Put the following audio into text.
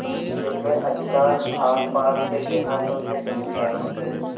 जिनमें अधिकांश आसपास के देहातों के जमींदार थे